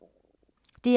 DR2